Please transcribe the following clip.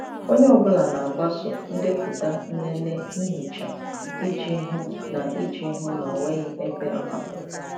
Onye ọ bụla na-agbaso ndepụta nlele ihicha iji hụ na iji hụ na ọ nweghị ebe a hapụrụ.